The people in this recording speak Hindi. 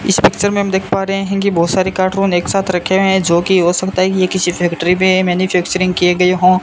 इस पिक्चर में हम देख पा रहे है की बहोत सारी कार्टून एक साथ रखे हुएं है जो की हो सकता है ये किसी फैक्ट्री में मैन्यूफैक्चरिंग किये गए हों।